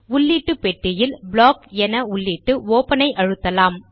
உள்ளீட்டு பெட்டியில் ப்ளாக் என உள்ளிட்டு ஒப்பன் ஐ அழுத்தலாம்